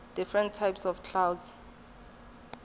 different types of clouds